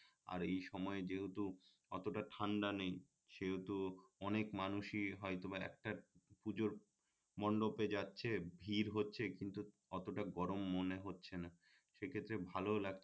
আর এই সময়ে যেহেতূ অতটা ঠান্ডা নেই সেহেতু অনেক মানুষই হয়তোবা একটা পুজোর মন্ডপে যাচ্ছে ভিড় হচ্ছে কিন্তু অতটা গরম মনে হচ্ছে না সেক্ষেত্রে ভালও লাগ